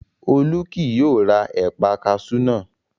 Olú kì yóò ra ẹ̀paa kaṣú náà